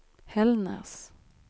Hällnäs